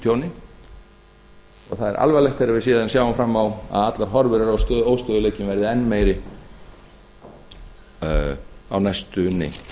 tjóni og það er alvarlegt er við síðan sjáum fram á að horfur eru á að óstöðugleikinn verði enn meiri á næstunni